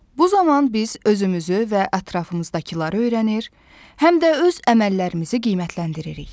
Bu zaman biz özümüzü və ətrafımızdakıları öyrənir, həm də öz əməllərimizi qiymətləndiririk.